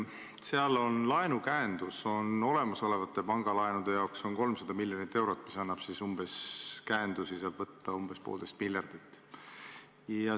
Seal on laenukäendus olemasolevate pangalaenude jaoks 300 miljonit eurot, mis tähendab seda, et käendusi saab võtta umbes poolteist miljardit.